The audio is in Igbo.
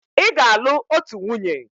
Ị ga-alụ otu nwunye!